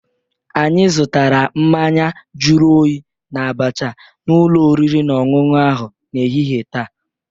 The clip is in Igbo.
Anyị zụtara mmanya juru oyi na abacha n'ụlọ oriri na ọṅụṅụ ahụ n'ehihie taa.